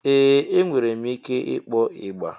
Ee! Enwere m ike ịkpọ ịgbà.